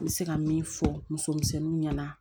N bɛ se ka min fɔ muso misɛnninw ɲɛna